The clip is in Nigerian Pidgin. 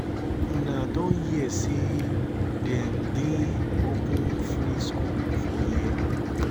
una don hear say dem din open free school for here?